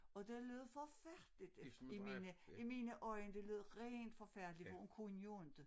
Og det lød forfærdeligt i mine i mine øjne det lød rent forfærdeligt for hun kunne jo inte